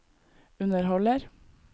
underholder